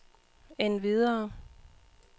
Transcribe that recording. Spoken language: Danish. endvidere